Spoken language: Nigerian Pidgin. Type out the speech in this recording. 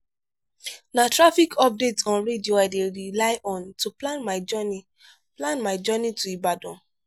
na traffic updates on radio i dey rely on to plan my journey plan my journey to ibadan.